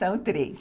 São três.